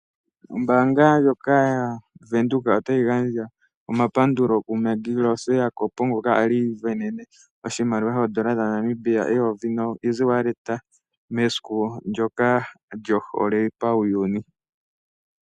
Ombaanga ndjoka yaBank Windhoek otayi gandja omapandulo kuMaggie Rose Jacob, ngoka a li isindanene oshimaliwa shaNamibia shooN$ 1000 noEasyWallet mesiku ndyoka lyohole pawuyuni.